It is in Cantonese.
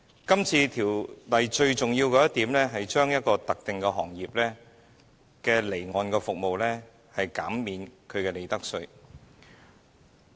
今次《條例草案》最重要的一點是，向一個特定行業的離岸服務提供寬減利得稅的優惠。